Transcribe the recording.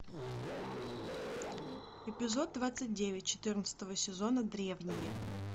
эпизод двадцать девять четырнадцатого сезона древние